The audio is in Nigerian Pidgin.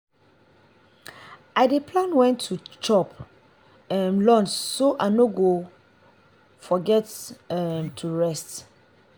i dey plan when to chop um lunch so i no go forget um to rest.